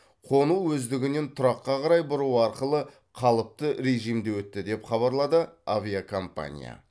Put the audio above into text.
қону өздігінен тұраққа қарай бұру арқылы қалыпты режимде өтті деп хабарлады авиакомпания